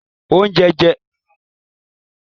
Onjẹunjẹ tuntun ṣẹda awọn ero ounjẹ fun iya-nla mi.